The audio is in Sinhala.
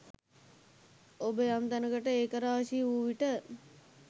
ඔබ යම් තැනකට ඒකරාශී වූ විට